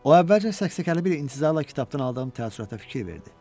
O əvvəlcə səksəkəli bir intizarla kitabdan aldığım təəssürata fikir verdi.